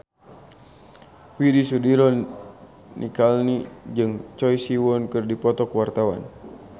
Widy Soediro Nichlany jeung Choi Siwon keur dipoto ku wartawan